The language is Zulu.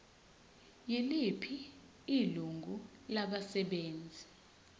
yiliphi ilungu labasebenzi